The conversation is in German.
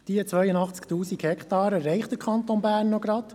Diese Anzahl erreicht der Kanton Bern nur noch knapp.